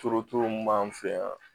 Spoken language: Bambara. mun b'an fɛ yan